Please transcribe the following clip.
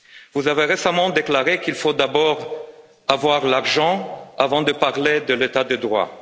Vous avez récemment déclaré qu'il faut d'abord avoir l'argent avant de parler de l'état de droit.